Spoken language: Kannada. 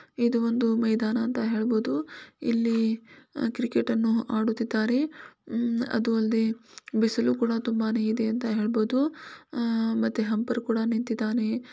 ಇದು ಒಂದು ಮೈದಾನ ಅಂತ ಹೇಳಬಹುದು ಇಲ್ಲಿ ಕ್ರಿಕೆಟ್ ಅನ್ನು ಆಡುತ್ತಿದ್ದಾರೆ ಉಹ್ ಬಿಸಿಲು ಕೂಡ ತುಂಬಾನೆ ಇದೆ ಅಂತ ಹೇಳಬಹುದು ಅಹ್ ಮತ್ತೆ ಹಂಪರ್ ಕೂಡ ನಿಂತಿದ್ದಾನೆ.